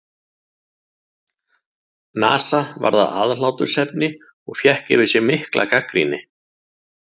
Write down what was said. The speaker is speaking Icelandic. NASA varð að aðhlátursefni og fékk yfir sig mikla gagnrýni.